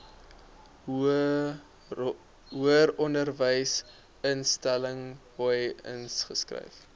hoëronderwysinstelling hoi ingeskryf